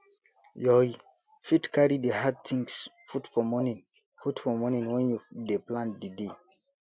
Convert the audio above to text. yoy fit carry di hard things put for morning put for morning when you dey plan di day